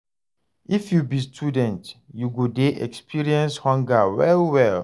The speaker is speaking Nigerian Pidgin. If you be student, you go dey experience hunger well-well.